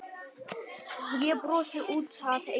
Ég brosi út að eyrum.